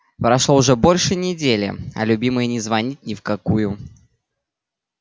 прошло уже больше недели а любимый не звонит ни в какую